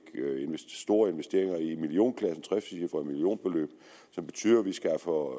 stor investering i millionklassen et trecifret millionbeløb som betyder at vi skaffer